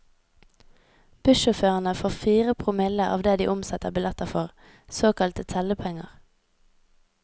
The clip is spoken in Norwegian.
Bussjåførene får fire promille av det de omsetter billetter for, såkalte tellepenger.